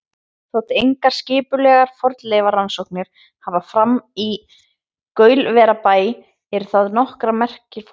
Þótt engar skipulegar fornleifarannsóknir hafi farið fram í Gaulverjabæ eru þaðan nokkrar merkar fornleifar.